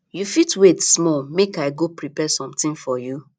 you fit wait small make i go prepare something for you